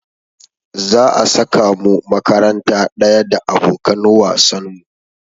Za a saka mu makaranta ɗaya da abokan wasan mu.